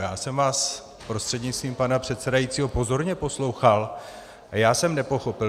Já jsem vás prostřednictvím pana předsedajícího pozorně poslouchal a já jsem nepochopil.